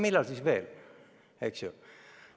Millal siis veel?